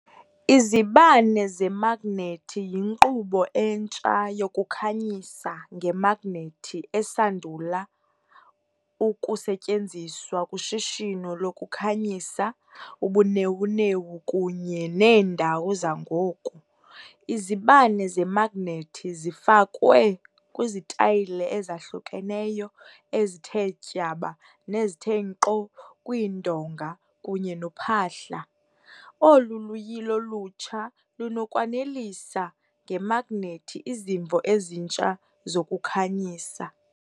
Izibane zemagnethi yinkqubo entsha yokukhanyisa ngemagnethi esandula ukusetyenziswa kushishino lokukhanyisa ubunewunewu kunye neendawo zangoku. Izibane zemagnethi zifakwe kwizitayile ezahlukeneyo ezithe tyaba nezithe nkqo kwiindonga kunye nophahla, olu luyilo lutsha lunokwanelisa ngemagnethi izimvo ezintsha zokukhanyisa.